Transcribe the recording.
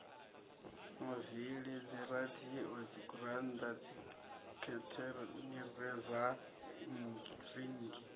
mavili dziradio dzigurannda dzikhethenireiza rinngi